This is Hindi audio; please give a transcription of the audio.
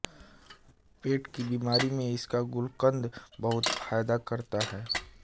पेट की बीमारी में इसका गुलकन्द बहुत फायदा करता है